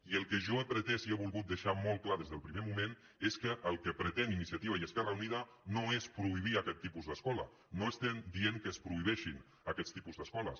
i el que jo he pretès i he volgut deixar molt clar des del primer moment és que el que pretén iniciativa i esquerra unida no és prohibir aquest tipus d’escola no estem dient que es prohibeixin aquest tipus d’escoles